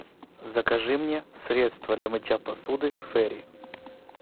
закажи мне средство для мытья посуды фейри